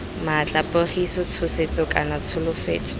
maatla pogiso tshosetso kana tsholofetso